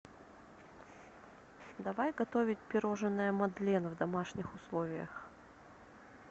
давай готовить пирожное мадлен в домашних условиях